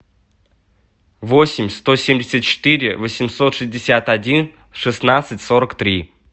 восемь сто семьдесят четыре восемьсот шестьдесят один шестнадцать сорок три